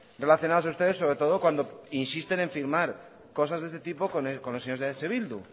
relacionadas a ustedes sobre todo cuando insisten en firmar cosas de este tipo con los señores de eh bildu